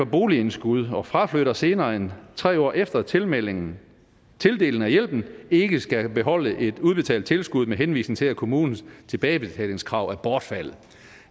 boligindskud og fraflytter senere end tre år efter tildelingen af hjælpen ikke skal beholde et udbetalt tilskud med henvisning til at kommunens tilbagebetalingskrav er bortfaldet